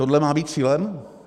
Tohle má být cílem?